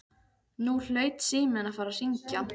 Nú hlaut síminn að fara að hringja.